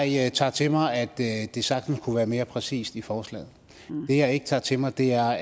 jeg tager til mig at det det sagtens kunne være mere præcist i forslaget det jeg ikke tager til mig er